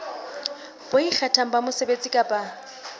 bo ikgethang ba mosebetsi kapa